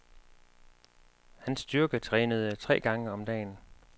Han styrketrænede tre gange om dagen.